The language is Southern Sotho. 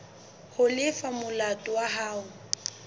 ho lefa molato wa hao